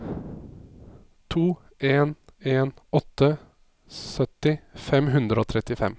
to en en åtte sytti fem hundre og trettifem